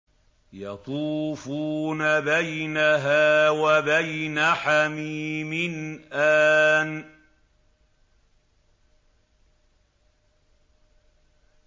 يَطُوفُونَ بَيْنَهَا وَبَيْنَ حَمِيمٍ آنٍ